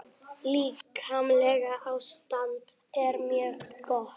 Líkamlegt ástand er mjög gott.